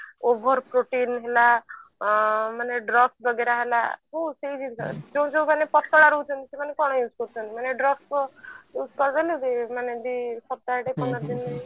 over protein ହେଲା ହୁଁ ସେଇ ଜିନିଷ ଯୋଉ ଯୋଉ ମାନେ ପତଳା ରହୁଛନ୍ତି ସେମାନେ କଣ use କରୁଛନ୍ତି ମାନେ drugs ଫ୍ରଗ୍ସ use କରୁଛନ୍ତି ମାନେ ଯୋଉ ସପ୍ତାହେ ଟେ ପନ୍ଦର ଦିନ